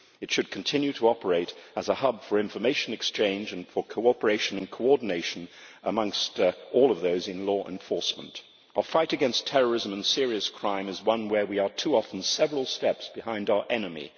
It should continue to operate as a hub for information exchange and for cooperation and coordination amongst all of those in law enforcement. Our fight against terrorism and serious crime is one where we are too often several steps behind our enemy.